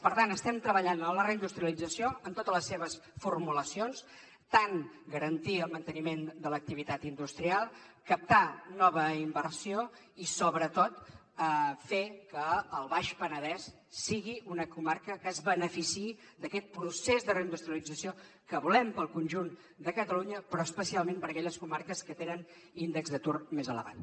per tant estem treballant en la reindustrialització en totes les seves formulacions tant garantir el manteniment de l’activitat industrial captar nova inversió i sobretot fer que el baix penedès sigui una comarca que es beneficiï d’aquest procés de reindustrialització que volem per al conjunt de catalunya però especialment per a aquelles comarques que tenen índex d’atur més elevat